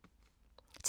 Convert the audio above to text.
TV 2